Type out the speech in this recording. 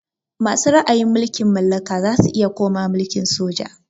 Masu ra'ayin mulkin mallaka zasu iya komawa mulkin soja